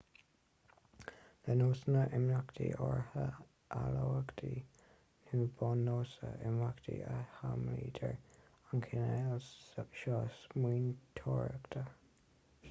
le nósanna imeachta áirithe eolaíochta nó buan-nósanna imeachta a shamhlaítear an cineál seo smaointeoireachta